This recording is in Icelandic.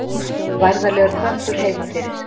Værðarlegur köttur heima fyrir.